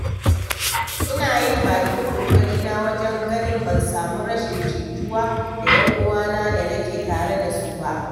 Ina yin bakin ƙoƙarina wajen ganin ban samu rashin jituwa da 'yan uwana da nake tare da su ba.